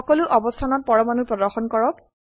সকলো অবস্থানত পৰমাণু প্ৰদৰ্শন কৰক